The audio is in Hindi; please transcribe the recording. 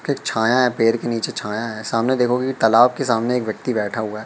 एक छाया हैं पेड़ के नीचे छाया हैं सामने देखोगे की तालाब के सामने एक व्यक्ति बैठा हुआ हैं।